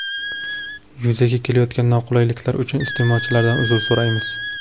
Yuzaga kelayotgan noqulayliklar uchun iste’molchilardan uzr so‘raymiz.